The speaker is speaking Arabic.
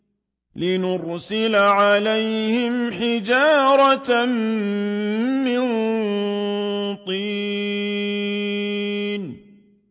لِنُرْسِلَ عَلَيْهِمْ حِجَارَةً مِّن طِينٍ